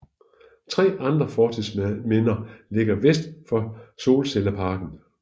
Tre andre fortidsminder ligger vest for solcelleparken